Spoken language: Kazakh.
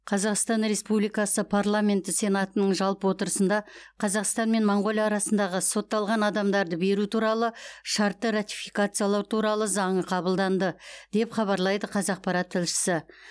қазақстан республикасы парламенті сенатының жалпы отырысында қазақстан мен моңғолия арасындағы сотталған адамдарды беру туралы шартты ратификациялау туралы заңы қабылданды деп хабарлайды қазақпарат тілшісі